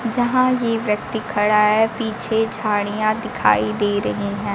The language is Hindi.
जहां ये व्यक्ति खड़ा है पीछे झाड़ियां दिखाई दे रही हैं।